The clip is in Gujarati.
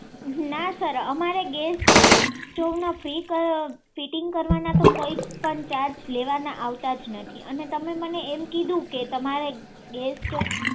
ના સર અમારે ગેસ સ્ટોવ ફીટીંગ કરવાના કઈ જ પણ ચાર્જ લેવામાં આવતો જ નથી અને તમે મને એમ કીધું કે તમારે ગેસ સ્ટોવ